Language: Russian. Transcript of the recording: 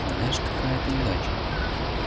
знаешь какая это удача